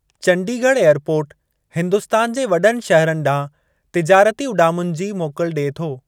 Chandigarh airport Hindustan जे वॾनि शहरनि ॾांहुं तिजारती उॾामुनि जी मोकल ॾिए थो।